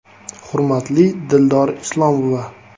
“Hurmatli Dildor Islomova!